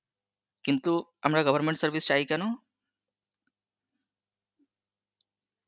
কিন্তু আমরা government service চাই কেন?